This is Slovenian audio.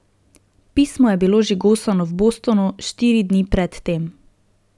Pismo je bilo žigosano v Bostonu, štiri dni predtem.